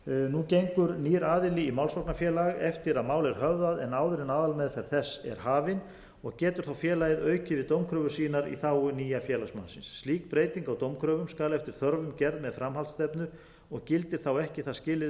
nú gengur nýr aðili í málsóknarfélag eftir að mál er höfðað en áður en aðalmeðferð þess er hafin og getur þá félagið aukið við dómkröfur sínar í þágu nýja félagsmannsins slík breyting á dómkröfum skal eftir þörfum gerð með framhaldsstefnu og gildir ekki það skilyrði